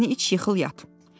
çayını iç yıxıl yat.